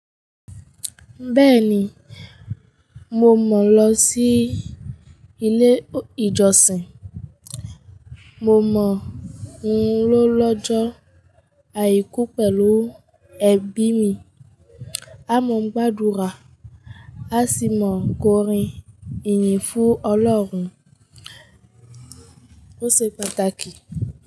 Bẹ́ẹ̀ni, mo mọ̀ lọ sí ilé ìjọsìn. Mo mọ̀ ń lọ lọ́jọ́ àìkú pẹ̀lú ẹbí mi. Á mò ń gbàdúrà, á sì mọ̀ kórin ìyìn fún Ọlọ́run. Ó ṣe pàtàkì.